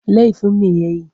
Laifin me ya yi?